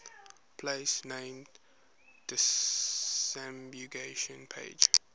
place name disambiguation pages